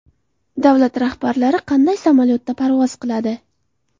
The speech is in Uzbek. Davlat rahbarlari qanday samolyotda parvoz qiladi?